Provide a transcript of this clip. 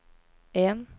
en